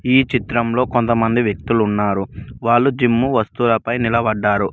ఈ చిత్రంలో కొంతమంది వ్యక్తులు ఉన్నారు వాళ్ళు జిమ్ వస్తువులపై నిలబడ్డారు.